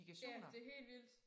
Ja det helt vildt